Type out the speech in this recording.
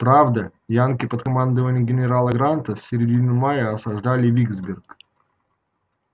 правда янки под командованием генерала гранта с середины мая осаждали виксберг